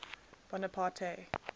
bonaparte